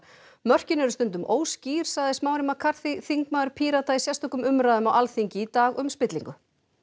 mörkin eru stundum óskýr sagði Smári McCarthy þingmaður Pírata í sérstökum umræðum á Alþingi í dag um spillingu